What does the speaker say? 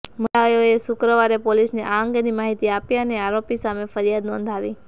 મહિલાએ શુક્રવારે પોલિસને આ અંગેની માહિતી આપી અને આરોપી સામે ફરિયાદ નોંધાવી